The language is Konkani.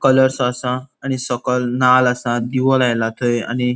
कलर्स सो आसा आणि सोकोल नाल आसा दिवों लायला थय आणि --